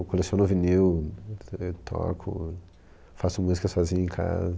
Eu coleciono vinil, te, toco, faço música sozinho em casa.